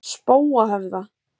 Spóahöfða